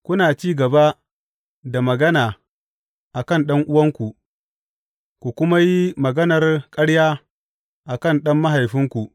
Kuna ci gaba da magana a kan ɗan’uwanku ku kuma yi maganar ƙarya a kan ɗan mahaifinku.